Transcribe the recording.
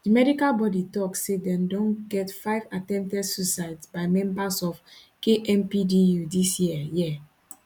di medical bodi tok say dem don get five attempted suicides by members of kmpdu dis year year